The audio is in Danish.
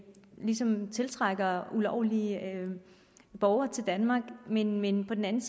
ligesom tiltrækker ulovlige borgere til danmark men men på den anden